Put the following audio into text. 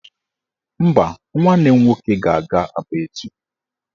Mba, nwanne m nwoke ga-aga Aba echi